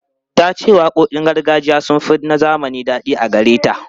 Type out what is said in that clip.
Ta ce waƙoƙin gargajiya sun fi na zamani daɗi a gare ta.